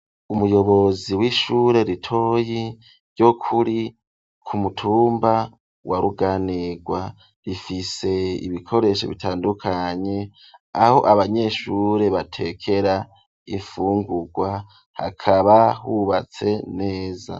Umuyobozi w'ishure ritoyi ryokuri ku mutumba wa ruganirwa rifise ibikoresho bitandukanye aho abanyeshure batekera ifungurwa hakaba hubatse neza.